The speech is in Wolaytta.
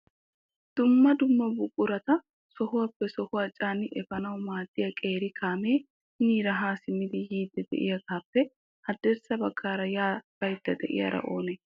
Dumma dumma buqurata sohuwappe sohuwaa caanidi epanaw maaddiya qeeri kaamee hiniira ha simmidi yiidi de'iyaagappe haddirssa baggaara ya baydda de'iyaara oone?